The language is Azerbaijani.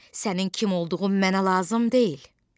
Sənin kim olduğun mənə lazım deyil.